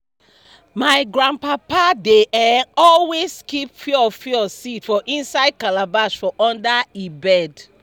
my grandpapa dey um always keep fiofio seed for inside calabash for under e bed